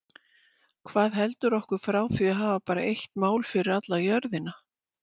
Hvað heldur okkur frá því að hafa bara eitt mál fyrir alla jörðina?